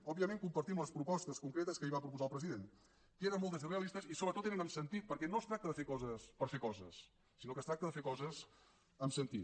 òbviament compartim les propostes concretes que ahir va proposar el president que eren moltes i realistes i sobretot eren amb sentit perquè no es tracta de fer coses per fer coses sinó que es tracta de fer coses amb sentit